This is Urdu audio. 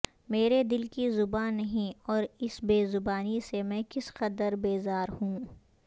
میرے دل کی زبان نہیں اور اس بے زبانی سے میں کس قدر بیزار ہوں